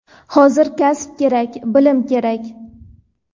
Hozir kasb kerak, bilim kerak!.